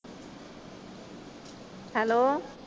hello